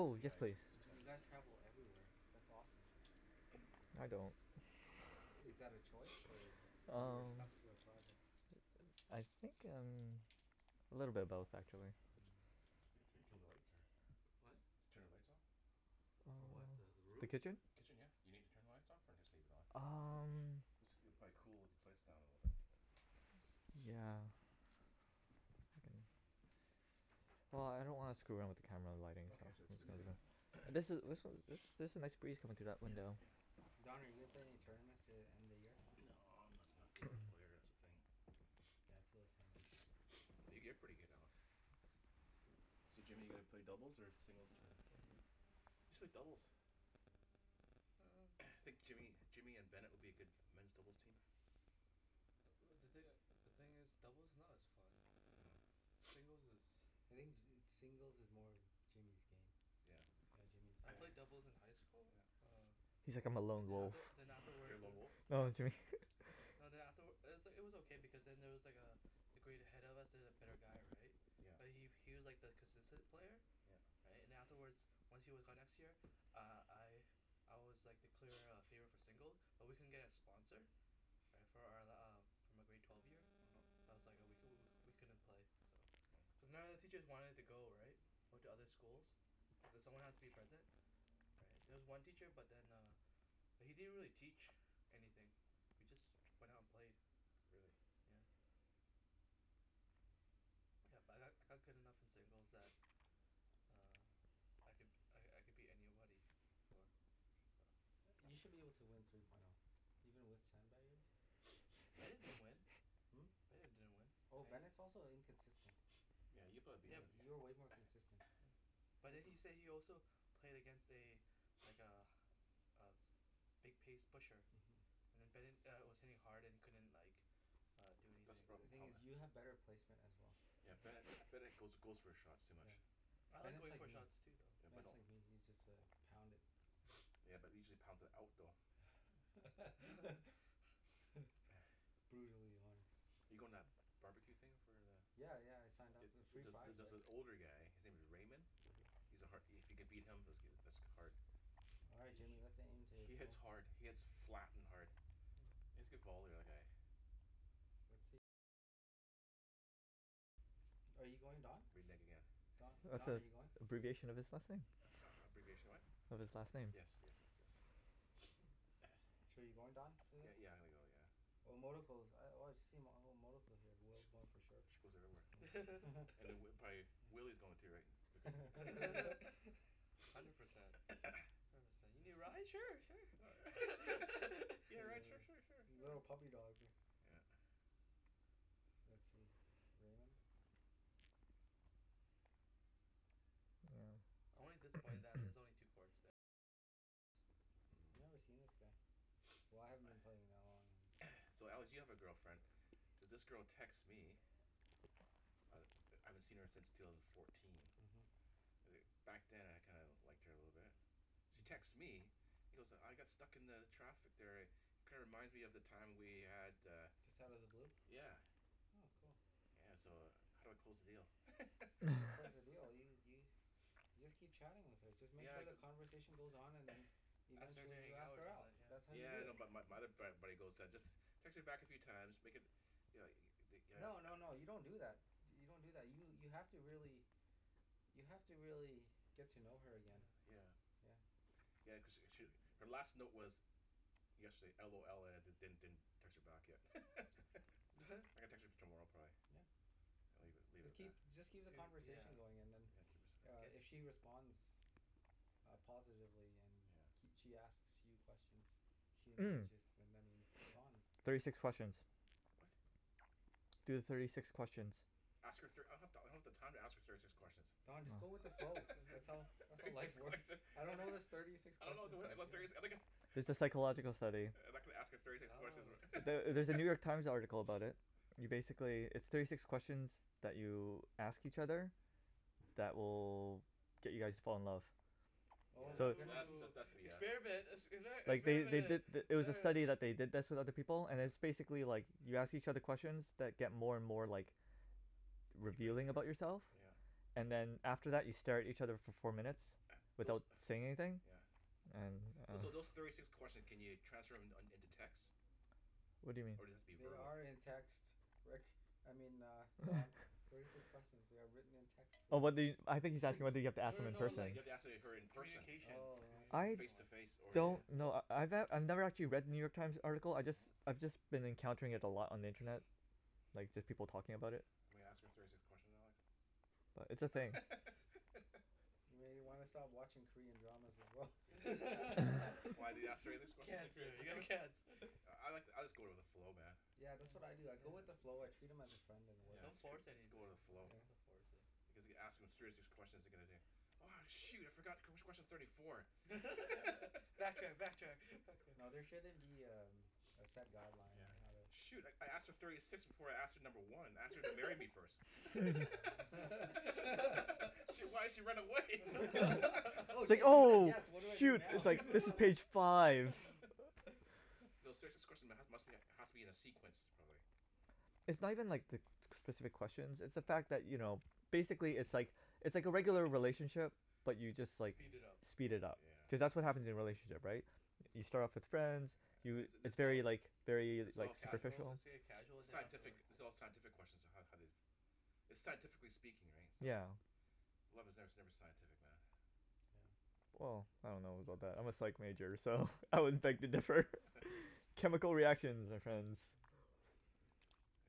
Yeah yes yeah I please. just told you him that. guys travel everywhere that's awesome. I don't. I- is that a choice or you're Umm stuck to a project? I think umm a little bit of both actually. Hmm Kill the lights or? What? Turn the lights off? For what the the Oh the room? kitchen? Kitchen yeah. You need to turn the lights off or just leave it on? Umm this it'll cool the place down a little bit. Yeah. If I can. Well I don't want to screw around with the camera the lighting, so Okay I'm jus- just just leave gonna it leave it. And this this then. was there's a nice breeze coming through that Yup window. yeah. Don are you gonna play in any tournaments to the end of the year? Nah I'm not not good of a player that's the thing Yeah I feel the same way. yo- you're pretty good Alex. So Jimmy your gonna play singles or doubles tournament? Singles. You should play doubles. hmm I think Jimmy Jimmy and Bennet would be a good men's doubles team. Uh uh the thin- the thing is doubles is not as fun. oh Singles is. I think ju- singles is more Jimmy's game. Yeah. Yeah Jimmy's I played doubles in high school yeah. uh He's like "I'm a and lone then wolf". after then uh-huh. You're afterwards a lone wolf? dah. No Jimmy No then afterw- it was it was okay because then there was like uh a grade ahead of us there's a better guy right Yeah. but he he was like the consistent player Yeah. right and then afterwards once he was gone next year uh I I was like the clear uh favor for single but we couldn't get a sponsor right for our uh for my grade twelve year uh-huh. that's was like oh we couldn- we couldn't play cuz none of the teachers wanted to go right went to other schools cuz someone has to be present there was one teacher but then uh but he didn't really teach anything we just went out and played. Really? Yeah yeah but I I got good enough in singles that um I could I I could beat anybody for so. Yea- you should be able to win three point o even with sandbagger Bennet bet play. didn't win. Hmm? Bennet didn't win Oh and he. Bennet's also inconsistent. yeah you'll probably beat Yeah Yeah Bennet b- you're way more consistent. but then he say he also played against a like a a big pace pusher uh-huh. and then Bennet uh was hitting hard and he couldn't like uh do That's the anything The proble- thing hum eh? is you have better placement as well. yeah Yeah. Bennet Bennet goes goes for shots too much. Yeah. I like Bennet's going like for me. shots too though. Yeah but Bennet's don't. like me he just uh pound it. Yeah usually he's pounds it out though. Brutally honest. you goin- to that bar-b-que thing for the? Yeah yeah I signed Jup up it for the it free prize jus- just right. an older guy his name is Raymond.. uh-huh. He's a har- if you can beat him that's goo- that's hard All right he Jimmy he, let's aim to he hits smoke. hard, he hits flat and hard. Hm. He has a good volley the other guy. Are you going Don? Renege again. Uh Don, that's Don are you going? abbreviation of his last name. A- abbreviation of what? Of his last name. Yes, yes yes yes. So you're going Don for Yeah this? yeah I'm gonna go yeah. Oh I've oh I've seen oh here whoever's going for sure. She goes everywhere. And then prob- probably Willy's going to right because. Hundred percent. you need a ride sure sure. You wanna a ride sure li- sure sure sure. little puppy dog ri- Yeah. Let's see Raymond. Hmm. I've never seen this guy. Why I haven't been playing that long and. So Alex you have a girlfriend. So this girl texts me I I haven't seen her since two thousand and fourteen uh-huh. uh back then I kinda liked her a little bit she texts me Mm. you know so I got stuck in the traffic there eh kinda reminds me of the time we had uh Just outta the blue? yeah Oh cool. yeah so uh how do I close the deal? How do you close the deal? Do you do you- You just keep chatting with her just make Yeah I sure the cu- conversation goes on and then you Ask her to eventually hangout ask or her out, something that's yeah. how you Yeah do I know it. bu- but my other frat buddy goes just text her back a few time make it you know the th- No no no you don't do that do- you don't do that you have to really you have to really get to know her again. Yeah. Yeah. Yeah cause she sh- her last note was yesterday LOL and I didn- didn't text her back yet I'm What? gonna text her tomorrow probably Yeah. and leave leave it Just at that keep just keep the do yeah conversation going and then yeah keep it uh get if she responds uh positively and yeah kee- she asks you questions she Umm engages then that means it's on thirty Don six questions what? Do the thirty six questions. Ask her thir- I don- I don't have the time to ask her thirty six Oh questions Don just go with the Oh flow that's all that's thirty how six life works questions I I don't don't know this thirty six I don't know questions abo- thing about thirty si- yeah I'm gonna It's a psychological study. Uh I'm not gonna ask her thirty six I questions wh- don't know. Ther- there's a New York Times article about it. You basically, there's thirty six questions that you ask each other that will get you guys to fall in love. Yeah Oh my So goodness. that's that's Oh that's BS experiment expe- Like they experiment they did it th- it was a experiment. study that they did this with other people and it's yeah basically like you ask each other questions that get more and more like deeper and revealing deeper about yourself. yeah yeah And then after that you stare at each other for four minutes those without saying anything yeah And Those umm so those thirty six questions can you transfer them in into text? What do you mean? Or does it have be They verbal? are in text. Rick, I mean uh Don thirty six question. they are written in text for Oh well, you I I think he's asking whether you have to No ask them no in no Do person. you like have to ask he- her co- in person? communication Oh I see. I Face to face or one yeah? wel- yeah don't wel- kno- I ne- I've never actually read the New York Times article I Hmm jus- hmm I've just been encountering it a lot on the internet. Like just people Hm talking about it. I'm gonna ask her thirty six questions Alex. But it's a thing. Maybe you wanna stop watching Korean dramas as well. Yeah. Why do they ask thirty six questions in Korean cancer you have dram- ? cancer. I like I'll just go with the flow man. Yeah yeah that's what I do I go with the yeah. flow I treat them as a friend and it Yeah, works yeah don't its true force just anything, go with the yeah you flow. don't Yeah. have to force it. Because if you ask them thirty six questions you're gonna do "oh shoot I forgot wh- which question's thirty four". backtrack backtrack, backtrack. No there shouldn't be um a set guideline Yeah. on Yeah. how to Shoot I I asked her thirty six before I asked her number one, I asked her to marry me first. shit why'd she run away? oh it's like shit she said oh yes what do I do shoot it's now like this is page five. uh-huh No serious- this question must be has to be in a sequence probably. It's not even like the specific questions it's the fact that Hm you know basically it's like it's It's like a all regular right. relationship but you just like, Speed it up. Yeah. speed it up Yeah. Cuz that's what happens in relationship right? You start off as friends you, yeah thi- it's this is all very like very this is like all sci- casual superficial. it's a casual sci- the scientific this is all scientific question on how how they It's scientifically speaking right, so? Yeah. Love is ne- never scientific man. Well I don't know about that, I'm a psych major so I would beg to differ, chemical reactions my friends. uh-huh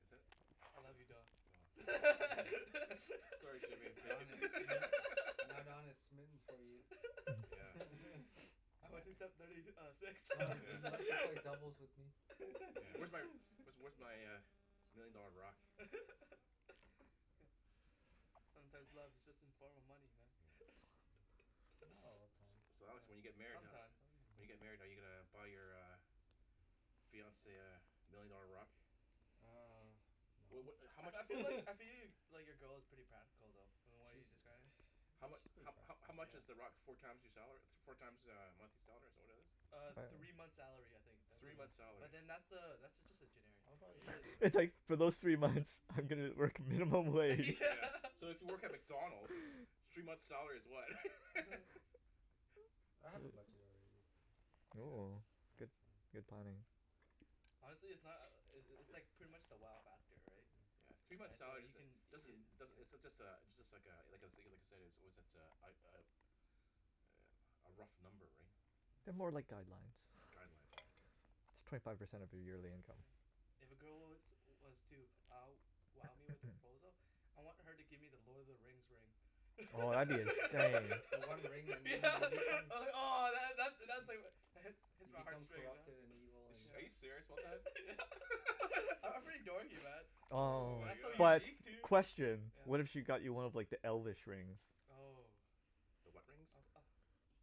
Is it? I love you Ca- Don. no fo Sorry Jimmy I'm taken. Don is smi- now Don is smitten for you. Yeah. I went to step thirty uh six Don would you Yeah. like to play doubles with me? Yeah where's where's where's my million dollar rock? hm Sometimes love is just in form of money man Yeah. Not all the time. So Alex when you get Yeah married how- sometimes When you get married are uh-huh you uh gonna buy your uh fiance uh million dollar rock? uh Well no what how I much? I feel like I feel like your girl is pretty practical though from what She uh you described. How yeah she's mu- pretty how how practical. how much is the rock four times your salary? Four times uh a monthly salary is that what it is? uh Three three months' months' salary. salary. I'll probably spend It's like for those three months I'm gonna work minimum wage. Yeah so if you work at McDonalds three months' salary is what? I have a budget already. Yeah. Oh good That's fine. good planning. Honestly it's not uh uh it's it's pretty much the wow factor right. yeah yeah three months' right so salary you can doesn't doesn't uh does- it's just a it's just like uh like I said like I like I said a a was it uh uh a rough number right They're more like guidelines guidelines right It's twenty five percent of your yearly income. Yeah. If a girl was was to wow wow me with a proposal I want her to give me the Lord of the Rings ring Oh that'd be insane yeah ahh that that's Hmm hits You my heart become straight corrupted and evil and Ar- are you yeah serious yeah I'm pretty dorky man Ohh Oh That's so my but God. unique too question, what if yeah. she got you one of like the elfish rings? Oh The what rings? I was ah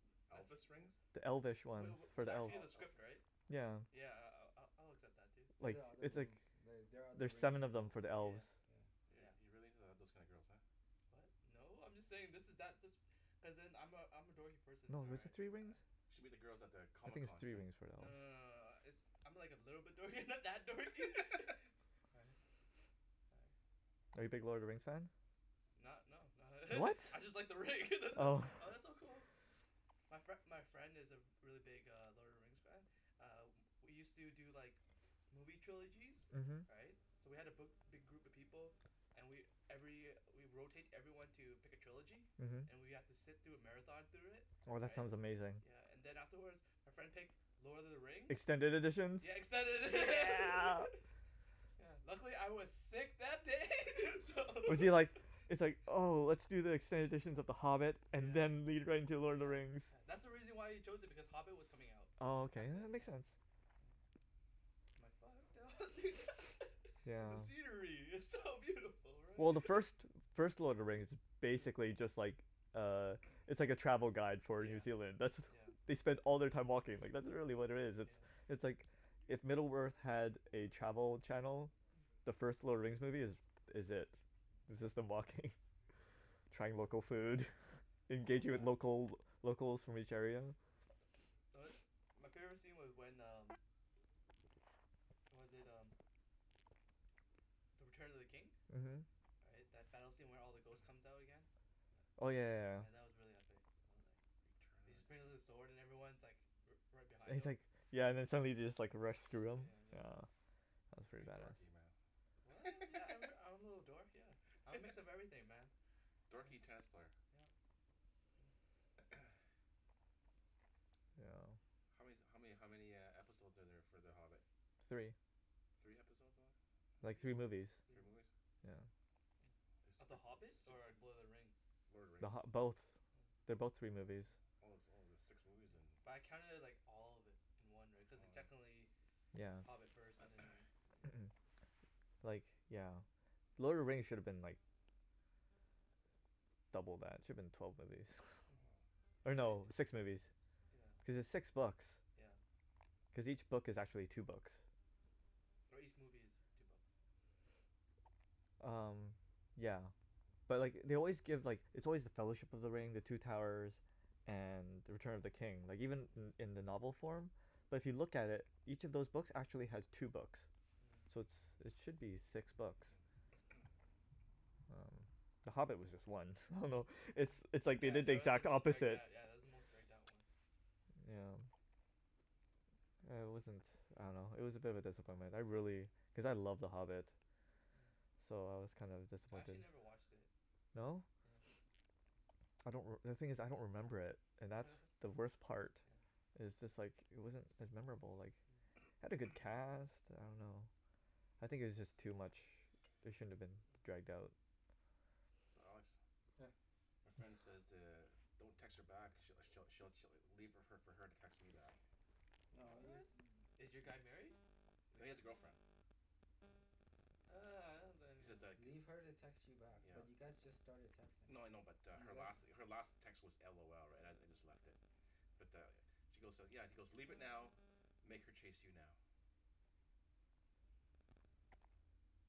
uh that's Elvis rings? yeah The elfish ones, wa- for was the elves, actually in Oh the script elvish right? yeah. yeah I- I'll- I'll accept that too. They're Like the other it's like rings the- they are other there's rings seven of in them the for the elves. yeah yeah You're yeah you're really into uh those kinds of girls huh? what? no. I'm just saying this is that this cuz then I'm a I'm a dorky person No is it three rings? ah You should meet the girls at the I Comic think it's Con three thing. rings for the no no elves. no no uh it's I'm like a little bit dorky not that dorky right. right Are you big Lord of the Rings fan? Not no not What? I just like the ring that it Oh oh that's so cool my fri- my friend is a re- really big Lord of the Rings fan ah we use to do like movie trilogies, uh-huh. right so we had a bi- big group of people and we every we rotate everyone to pick a trilogy uh-huh. and we have to sit through a marathon through it Oh that right sounds amazing. yeah and then afterwards our friend picked Lord of the Rings Extended editions? Yeah extended edi- Yeah. yeah luckily I was sick that day so Was he like, it's like oh let's do the extended editions of the Hobbit and yeah. then lead right into Lord of the yeah Rings. yeah that's Hmm why he chose it because Hobbit was coming out Oh okay, back then that makes yeah. sense hm I'm like fuck yeah because the scenery is so beautiful right Well the first first Lord of the Rings is be- basically just like uh It's like a travel guide for New yeah Zealand, that's yeah they spend all their time walking, like that's really what it is yeah it's like if Middle Earth had a travel channel Hm the first Lord of the Rings movie is is it Hmm it's just them walking trying local food, yeah that's so engaging with bad local locals from each area. yeah tho- my favorite scene was when um was that um The Return of the King uh-huh right that battle scene where all the ghost comes out again yeah oh yeah yeah yeah yeah that was really epic He just brings out his sword and everyone's like righ- right And behind he's him like, yeah and then somebody just like runs through him, put yeah just yeah. That's pretty Pretty bad. dorky what? man yeah I'm I'm a little dork yeah I'm a mix of everything man Dorky tennis player yup yeah how man- how many how many uh episode are there for The Hobbit? Three. Three episode only Like movies. three movies. three Three movies movi- Yeah yeah. Of The Hobbit or Lord of the Rings? Lord of the The RIngs Hobbi- both, oh they're both three movies. yeah Oh oh there's six movies yeah, then but I counted it like all of it in one right cuz it's Oh yeah technically yeah Hobbit first and then right but yeah yeah Like yeah. Lord of the Rings should've been like double that, it should've been twelve movies. woah or uh-huh. no li- six six movies yeah cuz it's six books yeah cause each book is actually two books or each movie is two books umm yeah But like they always give like it's always The Fellowship of the Ring the Two Towers and The Return of the King. Like even uh-huh in in the novel form but if you look at it each of those books actually has two books Mm So it's it should be six books Mm umm, The Hobbit was just one, I don't know it's Mm it's like they yeah did the that was the exact most dragged opposite out yeah that was the most dragged out one yeah yeah huh uh it wasn't I don't know it was a bit of a disappointment, I really, Mm cuz I love The Hobbit Hmm So I was kinda I disappointed actually never watched it No? yes I don't reme- the thing is I don't remember it and that's the worst part yeah it's just like it wasn't as memorable like Hmm it had a good cast, I don't know I think it was just too much it shouldn't have been Hmm dragged out. So Alex yeah My friend says to don't text her back she'll she'll she'll leave fo- leave it for her to text me back No What? use- th- Is your guy married? No he has a girlfriend ah He says like Leave her to text you back but yeah you yeah guys just started No texting no I know but uh her last her last text was LOL right I I just left it Yeah but uh She goes yeah he's goes leave it now make her chase you now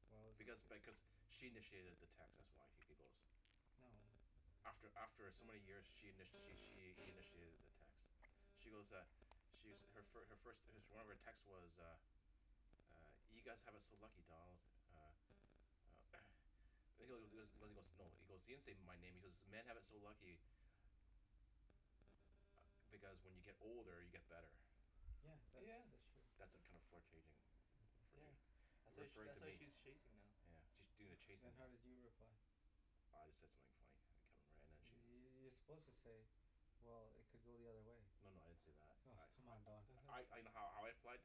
Well it's Because just th- because she initiated the text that's why he goes No After after some many years she in- she she initiated the text She goes uh She's her first her first one of her text text was uh uh you guys have it so lucky Donald uh uh He he goes he goes no he goes he didn't say my name he goes "men have it so lucky" ah because when you get older you get better Yeah that's yeah that's true That's a kind yeah of flurtating yeah uh-huh That's why referring referring to that's why me she's chasing now yeah she's doing the chasing Then now how did you reply I just said something funny I can't remember and then she you're suppose to say well it could go the other way No no I didn't say that Oh come I on Don I I I know how I I fled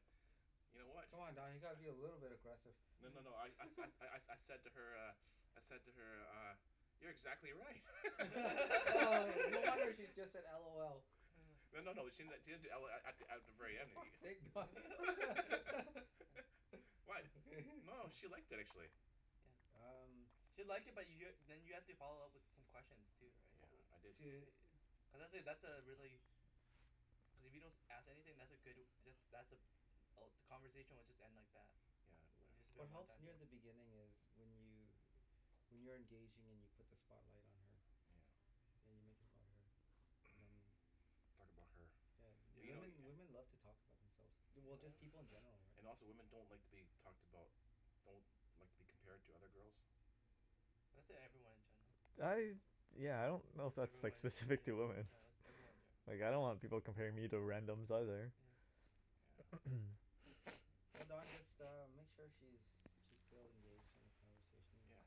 You know what Come on Don you gotta be a little bit agressive No no no I Hmm I I, I said to her uh I said to her uh You're exactly right oh no wonder she just said LOL Hmm No no no she didn- she didn't do LOL at th- at the very For end fuck's sake guy Huh Why? No she liked it actually yeah Um She'll like it but you're then you have to follow up with some questions too right Yeah I didn't To cuz that that's a really cuz if you don't as- ask anything that's a good that that's a all the conversation will just end like that Yeah Or I it'll I just Wh- be a what one helps time near thing the beginning is when you when you're engaging and you put the spotlight on her Hmm yeah you make it about her and then you talk about her yeah But you know women yeah women love to talk about themselves du- just people Yup in general right And also women don't like to be talked about Don't like to be compared to other girls That's e- everyone in general, yeah yeah. I yeah I don't know if that's that's like everyone yea- specific to yeah women yeah that's everyone ge- like I don't want people comparing me to randoms either. yeah Yeah Oh Don just uh make sure she's she's still engaged in the conversation yeah